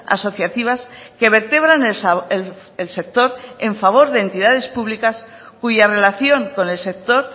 asociativas que vertebran el sector en favor de entidades públicas cuya relación con el sector